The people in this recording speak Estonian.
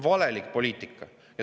Valelik poliitika!